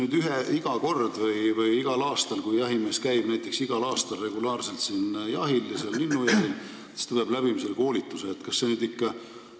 See hakkab nüüd olema iga kord: kui jahimees käib siin näiteks regulaarselt, igal aastal, linnujahil, siis ta peab selle koolituse läbima.